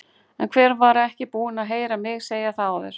En hver var ekki búinn að heyra mig segja það áður?